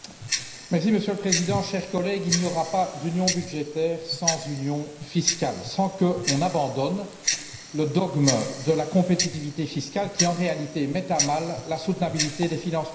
Monsieur le Président, chers collègues, il n'y aura pas d'union budgétaire sans union fiscale, sans qu'on abandonne le dogme de la compétitivité fiscale qui, en réalité, met à mal la durabilité des finances publiques.